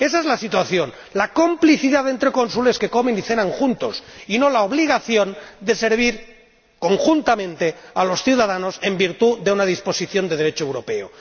Ésa es la situación la complicidad entre cónsules que comen y cenan juntos y no la obligación de servir conjuntamente a los ciudadanos en virtud de una disposición de Derecho europeo.